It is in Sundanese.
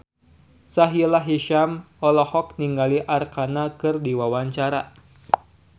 Sahila Hisyam olohok ningali Arkarna keur diwawancara